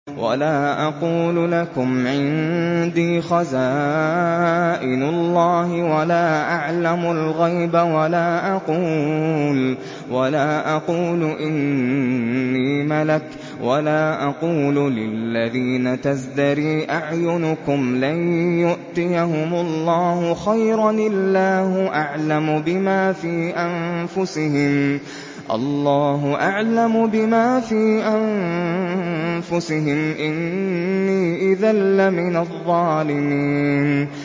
وَلَا أَقُولُ لَكُمْ عِندِي خَزَائِنُ اللَّهِ وَلَا أَعْلَمُ الْغَيْبَ وَلَا أَقُولُ إِنِّي مَلَكٌ وَلَا أَقُولُ لِلَّذِينَ تَزْدَرِي أَعْيُنُكُمْ لَن يُؤْتِيَهُمُ اللَّهُ خَيْرًا ۖ اللَّهُ أَعْلَمُ بِمَا فِي أَنفُسِهِمْ ۖ إِنِّي إِذًا لَّمِنَ الظَّالِمِينَ